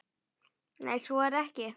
Nei, svo er ekki.